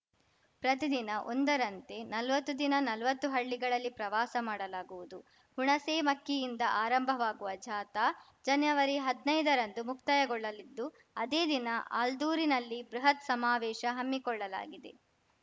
ಪ್ರತಿದಿನ ಒಂದರಂತೆ ನಲ್ವತ್ತು ದಿನ ನಲ್ವತ್ತು ಹಳ್ಳಿಗಳಲ್ಲಿ ಪ್ರವಾಸ ಮಾಡಲಾಗುವುದು ಹುಣಸೇಮಕ್ಕಿಯಿಂದ ಆರಂಭವಾಗುವ ಜಾಥಾ ಜನವರಿ ಹದ್ನೈದ ರಂದು ಮುಕ್ತಾಯಗೊಳ್ಳಲಿದ್ದು ಅದೇ ದಿನ ಆಲ್ದೂರಿನಲ್ಲಿ ಬೃಹತ್‌ ಸಮಾವೇಶ ಹಮ್ಮಿಕೊಳ್ಳಲಾಗಿದೆ